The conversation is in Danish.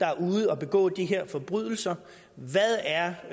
er ude at begå de her forbrydelser hvad er